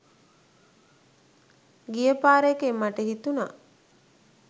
ගිය පාර එකෙන් මට හිතුණා